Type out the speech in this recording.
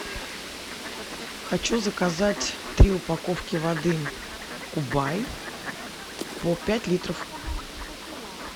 хочу заказать три упаковки воды кубай по пять литров